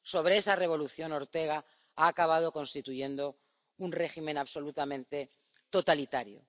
Sobre esa revolución, Daniel Ortega ha acabado constituyendo un régimen absolutamente totalitario.